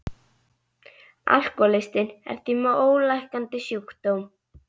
Alkohólistinn er því með ólæknandi sjúkdóm.